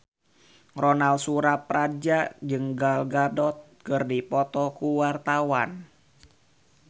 Ronal Surapradja jeung Gal Gadot keur dipoto ku wartawan